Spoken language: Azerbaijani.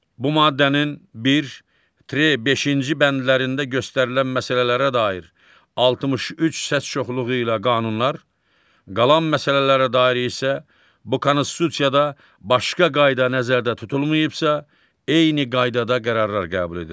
Bu maddənin bir - beşinci bəndlərində göstərilən məsələlərə dair 63 səs çoxluğu ilə qanunlar, qalan məsələlərə dair isə bu Konstitusiyada başqa qayda nəzərdə tutulmayıbsa, eyni qaydada qərarlar qəbul edilir.